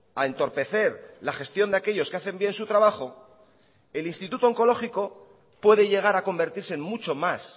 a entorpecer la gestión de aquellos que hacen bien su trabajo el instituto oncológico puede llegar a convertirse en mucho más